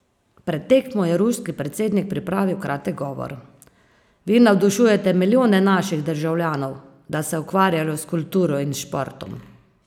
Pred tekmo je ruski predsednik pripravil kratek govor: "Vi navdušujete milijone naših državljanov, da se ukvarjajo s kulturo in športom.